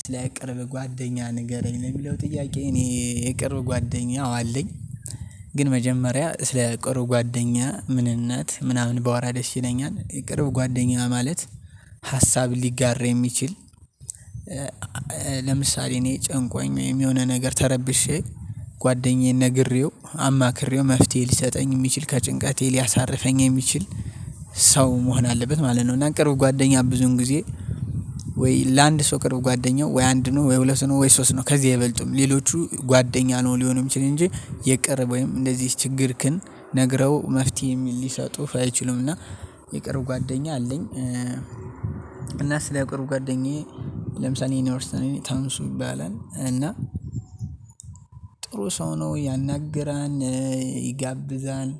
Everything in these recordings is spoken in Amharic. ስለ ቅርብ ጓደኛ ንገረኝ ነው የሚለው ጥያቄ እኔ የቅርብ ጓደኛ አው አለኝ። ግን መጀመሪያ ስለ ቅርብ ጓደኛ ምንነት ምናምን ባወራ ደስ ይለኛል የቅርብ ጓደኛ ማለት ሀሳብ ሊጋራ የሚችል ለምሳሌ እኔ ጨንቆኝ የሆነ ነገር ተረብሼ ጓደኛዬን ነግሬው አማክሬው መፍትሄ ሊሰጠኝ የሚችል ከጭንቀቴ ሊያሳርፈኝ የሚችል ሰው መሆን አለበት ማለት ነው። እና ቅርብ ጓደኛ ብዙን ጊዜ ወይ ለአንድ ሰው ቅርብ ጓደኛው ወይ አንድ ነው ወይ ሁለት ነው ወይ ሶስት ነው ከዚህ አይበልጡም ሌሎቹ ጓደኛ ነው ሊሆኑ የሚችሉ እንጂ የቅርብ ወይም እንደዚህ ችግርክን ነግረው መፍትሄ ሊሰጡህ አይችሉም እና የቅርብ ጓደኛ አለኝ። እና ስለ ቅርብ ጓደኛዬ ለምሳሌ እኔ አሁን ለምሳሌ ታንሱ ይባላል እና ጥሩ ሰው ነው ያናግራል ይጋብዛል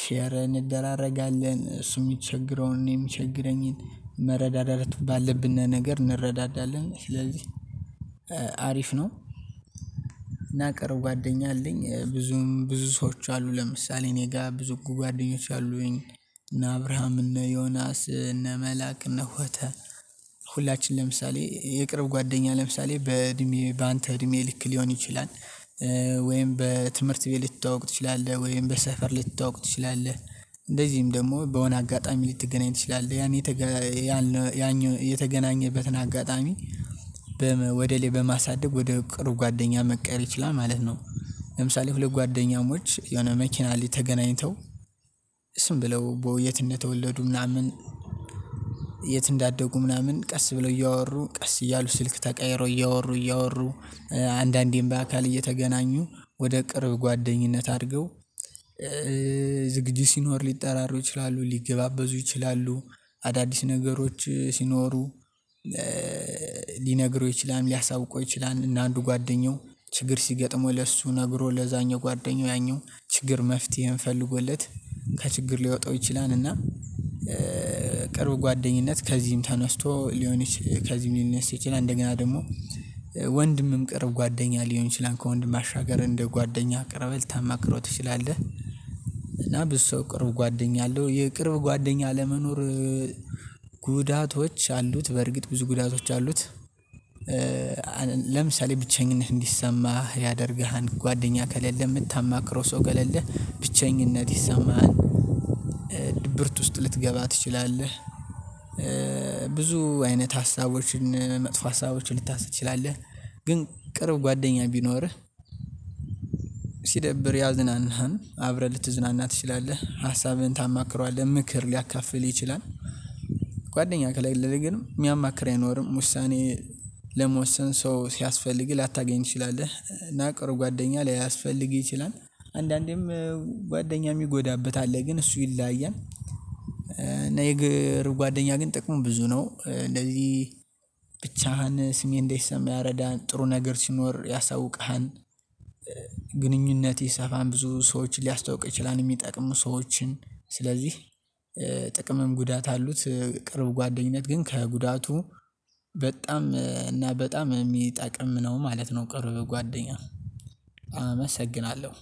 ሼር እንደራረጋለን እሱ የሚቸግረውን እኔ የሚቸግረኝን መረዳደት ባለብን ነገር እንረዳዳለን ስለዚህ አሪፍ ነው። እና ቅርብ ጓደኛ አለኝ ብዙም ብዙ ሰዎች አሉ ለምሳሌ እኔ ጋር ብዙ ጉጉ ጓደኞች አሉኝ እና አብርሃም እና ዮናስ እና መልአክ እና ሆተ ሁላችን ለምሳሌ የቅርብ ጓደኛ ለምሳሌ በእድሜ በአንተ እድሜ ልክ ሊሆን ይችላል። ወይም በትምህርት ቤት ልትተዋወቅ ትችላለህ ወይም በሰፈር ልትተዋወቅ ትችላለህ እንደዚህም ደግሞ በሆነ አጋጣሚ ልትገናኝ ትችላለህ ያን ያኔ የተገናኘህበትን አጋጣሚ ወደ ላይ በማሳደግ ወደ ቅርብ ጓደኛ መቀየር ይችላል ማለት ነው። ለምሳሌ ሁለት ጓደኛሞች የሆነ መኪና ላይ ተገናኝተው ዝም ብለው የት እንደተወለዱ ምናምን የት እንዳደጉ ምናምን ቀስ ብለው እያወሩ ቀስ እያሉ ስልክ ተቀይረው እያወሩ እያወሩ አንዳንዴም በአካል እየተገናኙ ወደ ቅርብ ጓደኝነት አድርገው ዝግጅት ሲኖር ሊጠራሩ ይችላሉ ሊገባበዙ ይችላሉ አዳዲስ ነገሮች ሲኖሩ ሊነግረው ይችላል ሊያሳውቀው ይችላል እና አንዱ ጓደኛው ችግር ሲገጥመው ለሱ ነግሮ ለዛኛው ጓደኛው ያኛው ችግር መፍትሄን ፈልጎለት ከችግር ሊያወጣው ይችላል። እና ቅርብ ጓደኝነት ከዚህም ተነስቶ ሊሆን ይችል ከዚህም ሊንሳ ይችላል እንደገና ደግሞ ወንድምም ቅርብ ጓደኛ ሊሆን ይችላል ከወንድም ባሻገር እንደ ጓደኛ ቀርበህ ልታማክረው ትችላለህ። ብዙ ሰው ቅርብ ጓደኛ አለው የቅርብ ጓደኛ አለመኖር ጉዳቶች አሉት በርግጥ ብዙ ጉዳቶች አሉት። ለምሳሌ ብቸኝነት እንዲሰማህ ያደርግሃል ጓደኛ ከሌለህ የምታማክረው ሰው ከሌለህ ብቸኝነት ይሰማሃል። ድብርት ውስጥ ልትገባ ትችላለህ። ብዙ አይነት ሀሳቦችን መጥፎ ሀሳቦችን ልታስብ ትችላለህ ግን ቅርብ ጓደኛ ቢኖርህ ሲደብርህ ያዝናሃል አብረህ ልትዝናና ትችላለህ ሀሳብህን ታማክረዋለህ ምክር ሊያካፍልህ ይችላል። ጓደኛ ከሌለህ ግን የሚያማክር አይኖርም ውሳኔ ለመወሰን ሰው ሲያስፈልግ ላታገኝ ትችላለህ እና ቅርብ ጓደኛ ላይ ሊያስፈልግህ ይችላል አንዳንዴም ጓደኛ የሚጎዳበት አለ ግን እሱ ይለያያል እና የግር ጓደኛ ግን ጥቅሙ ብዙ ነው። እንደዚህ ብቻህን ስሜት እንዳይሰማህ ያረዳሃል ጥሩ ነገር ሲኖር ያሳውቅሃል ግንኙነትህ ይሰፋል ብዙ ሰዎችን ሊያስታውቅህ ይችላል የሚጠቅሙህ ሰዎችን ስለዚህ ጥቅምም ጉዳት አሉት። ቅርብ ጓደኝነት ግን ከጉዳቱ በጣም እና በጣም የሚጠቅም ነው ማለት ነው። ቅርብ ጓደኛ። አመሰግናለሁ